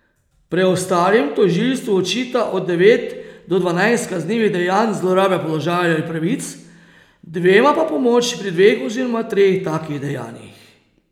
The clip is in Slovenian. Preostalim tožilstvo očita od devet do dvanajst kaznivih dejanj zlorabe položaja ali pravic, dvema pa pomoč pri dveh oziroma treh takih dejanjih.